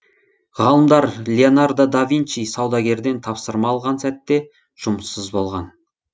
ғалымдар леонардо да винчи саудагерден тапсырма алған сәтте жұмыссыз болған